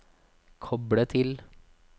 koble til